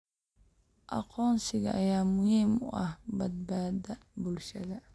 Aqoonsiga ayaa muhiim u ah badbaadada bulshada.